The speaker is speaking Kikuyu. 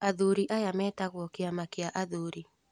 Athuri aya metagwo kĩama kia athuri